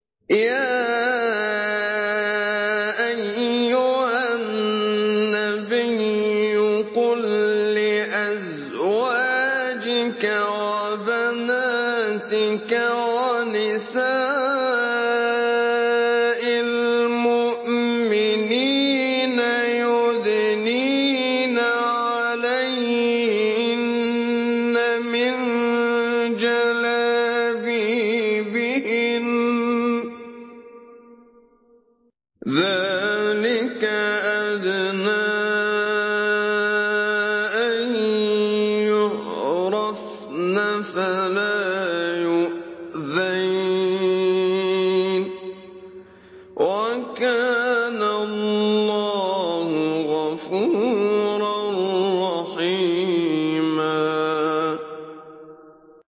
يَا أَيُّهَا النَّبِيُّ قُل لِّأَزْوَاجِكَ وَبَنَاتِكَ وَنِسَاءِ الْمُؤْمِنِينَ يُدْنِينَ عَلَيْهِنَّ مِن جَلَابِيبِهِنَّ ۚ ذَٰلِكَ أَدْنَىٰ أَن يُعْرَفْنَ فَلَا يُؤْذَيْنَ ۗ وَكَانَ اللَّهُ غَفُورًا رَّحِيمًا